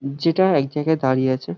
যেটা এক জায়গায় দাঁড়িয়ে আছে।